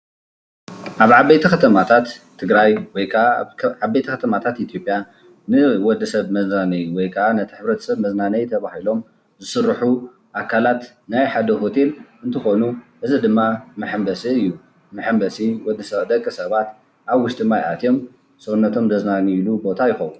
ኣብ ዓበይቲ ኸተማታት ትግራይ ወይ ካኣ ዓበይቲ ኸተማታት ኢትዮጲያ ንወዲሰብ መዝናነይ ወይ ካዓ ነቲ ሕብረተሰብ መዝናነይ ተባሂሎም ዝስርሑ ኣካላት ናይ ሓደ ሆቴል እንትኾኑ እዚ ድማ መሐምበሲ እዩ። መሕምበሲ ወድ ደቂሰባት ኣብ ውሽጢ ማይ ኣትዮም ሰውነቶም ዘዝናንይሉ ቦታ ይኸውን።